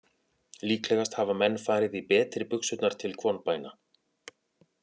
Líklegast hafa menn farið í betri buxurnar til kvonbæna.